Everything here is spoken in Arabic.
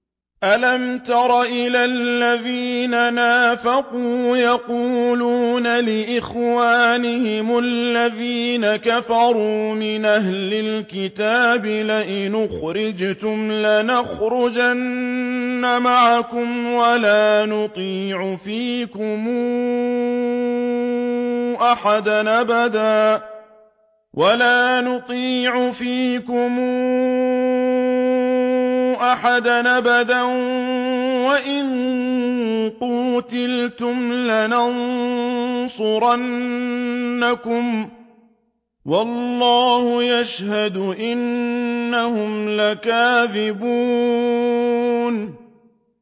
۞ أَلَمْ تَرَ إِلَى الَّذِينَ نَافَقُوا يَقُولُونَ لِإِخْوَانِهِمُ الَّذِينَ كَفَرُوا مِنْ أَهْلِ الْكِتَابِ لَئِنْ أُخْرِجْتُمْ لَنَخْرُجَنَّ مَعَكُمْ وَلَا نُطِيعُ فِيكُمْ أَحَدًا أَبَدًا وَإِن قُوتِلْتُمْ لَنَنصُرَنَّكُمْ وَاللَّهُ يَشْهَدُ إِنَّهُمْ لَكَاذِبُونَ